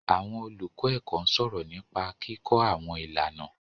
Àwọn olùkọ́ ẹ̀kọ́ ń sọ̀rọ̀ nípa kíkọ́ àwọn ìlànà.